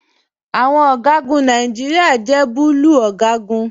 Aṣọ ọgagun Nàìjíríà jẹ bùlúù ọgagun.